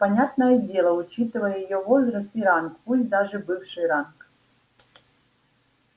понятное дело учитывая её возраст и ранг пусть даже бывший ранг